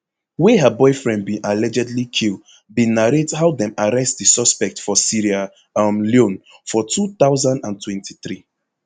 wey her boyfriend bin allegedly kill bin narrate how dem arrest di suspect for sierra um leone for two thousand and twenty-three